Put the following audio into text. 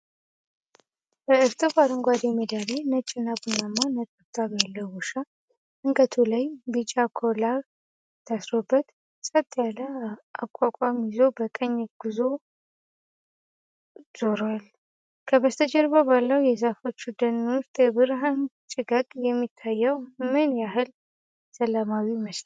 በእርጥብ አረንጓዴ ሜዳ ላይ፣ ነጭና ቡናማ ነጠብጣብ ያለው ውሻ አንገቱ ላይ ቢጫ ኮላር ታስሮበት፣ ፀጥ ያለ አቋቋም ይዞ በቀኝ ጎኑ ዙሯል፤ ከበስተጀርባው ባለው የዛፎች ደን ውስጥ የብርሃን ጭጋግ የሚታየው ምን ያህል ሰላማዊ ይመስላል?